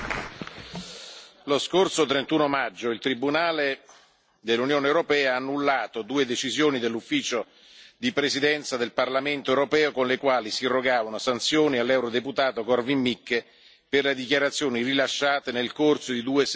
Lo scorso 31 maggio il tribunale dell'Unione europea ha annullato due decisioni dell'Ufficio di presidenza del Parlamento europeo, con le quali si irrogava una sanzione all'eurodeputato Korwin Mikke per le dichiarazioni rilasciate nel corso di due sessioni plenarie.